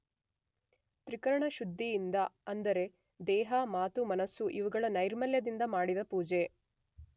ತ್ರಿಕರಣಶುದ್ಧಿಯಿಂದ ಅಂದರೆ ದೇಹ, ಮಾತು ಮನಸ್ಸು ಇವುಗಳ ನೈರ್ಮಲ್ಯದಿಂದ ಮಾಡಿದ ಪುಜೆ